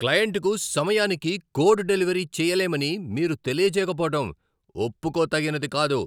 క్లయింట్కు సమయానికి code delivery చేయలేమని మీరు తెలియజేయకపోవడం ఒప్పుకోతగినది కాదు.